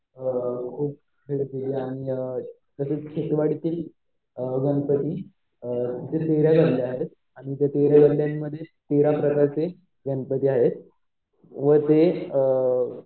खूप आणि तसेच खेपेवाडीतील गणपती तिथे तेरा बंगले आहेत. आणि त्या तेरा बंगल्यांमध्ये तेरा प्रकारचे गणपती आहेत. व ते